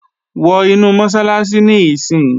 Wọ inu Mọ́sálásí níìsín!